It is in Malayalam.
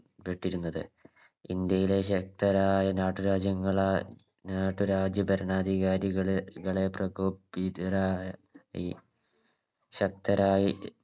പ്പെട്ടിരുന്നത് ഇന്ത്യയുടെ ശക്തരായ നാട്ടുരാജ്യങ്ങളാൽ നാട്ടുരാജ്യ ഭരണാധികാരികളെ വളരെ പ്രകോപിതരായി ശക്തരായി